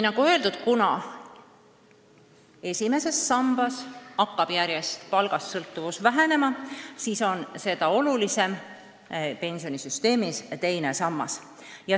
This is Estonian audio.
Nagu öeldud, kuna esimeses sambas hakkab palgast sõltuvus järjest vähenema, siis on seda olulisem teine sammas.